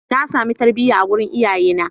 Na sami tarbiyya a wurin iyayena.